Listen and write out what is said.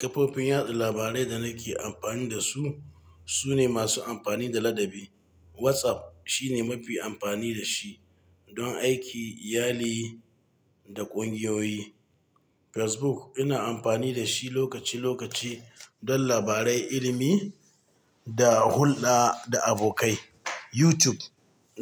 Kafofin yada labarai da nake amfani da su sune masu amfani da ladabi. WhatsApp shine mafi amfani da shi don aiki, iyali da ƙungiyoyi. Facebook ina amfani da shi lokaci-lokaci don labarai, ilimi da hulɗa da abokai. YouTube